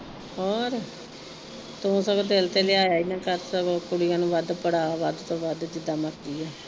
ਹੋਰ, ਤੂੰ ਸਗੋਂ ਦਿਲ ਤੇ ਲ਼ਿਆਇਆ ਹੀ ਨਾ ਕਰ ਸਗੋਂ ਕੁੜੀਆ ਨੂੰ ਵੱਧ ਪੜਾ, ਵੱਧ ਤੋ ਵੱਧ ਜਿਦਾ ਮਰਜ਼ੀ ਐ।